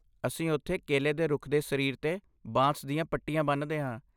ਅਸੀਂ ਉੱਥੇ ਕੇਲੇ ਦੇ ਰੁੱਖ ਦੇ ਸਰੀਰ 'ਤੇ ਬਾਂਸ ਦੀਆਂ ਪੱਟੀਆਂ ਬੰਨ੍ਹਦੇ ਹਾਂ।